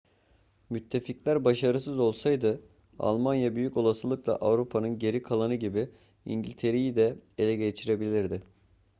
müttefikler başarısız olsaydı almanya büyük olasılıkla avrupa'nın geri kalanı gibi i̇ngiltere'yi de ele geçirebilirdi